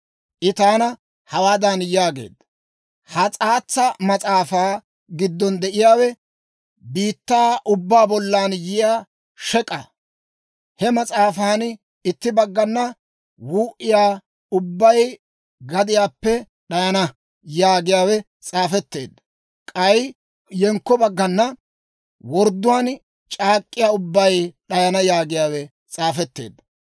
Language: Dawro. I taana hawaadan yaageedda; «Ha s'aatsa mas'aafaa giddon de'iyaawe biittaa ubbaa bollan yiyaa shek'k'aa. He mas'aafan itti baggana, ‹Wuu"iyaa ubbay gadiyaappe d'ayana› yaagiyaawe s'aafetteedda; k'ay yenkko baggana, ‹Wordduwaan c'aak'k'iyaa ubbay d'ayana› yaagiyaawe s'aafetteedda.